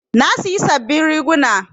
Na siyi sabin riguna